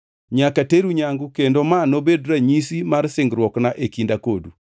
Nyaka teru nyangu kendo ma nobed ranyisi mar singruokna e kinda kodu.